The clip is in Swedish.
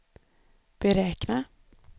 beräkna